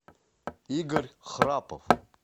игорь храпов